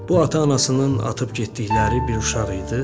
Bu ata-anasının atıb getdikləri bir uşaq idi.